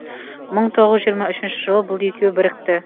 мың тоғыз жүз жиырма үшінші жылы бұл екеуі бірікті